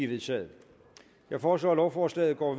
vedtaget jeg foreslår at lovforslaget går